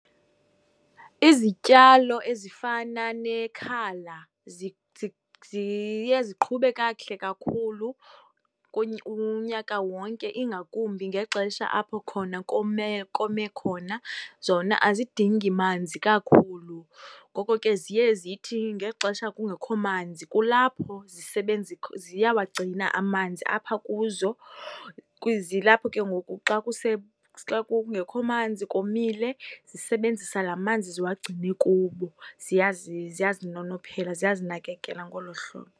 Izityalo ezifana nekhala ziye ziqhube kakuhle kakhulu unyaka wonke ingakumbi ngexesha apho khona kome, kome khona. Zona azidingi manzi kakhulu, ngoko ke ziye zithi ngexesha kungekho manzi kulapho ziyawagcina amanzi apha kuzo, xa xa kungekho komile, zisebenzisa lamanzi ziwagcine kubo. Ziyazinonophela, ziyazinakekela ngolo hlobo.